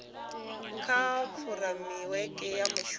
kha fureimiweke ya muvhuso ya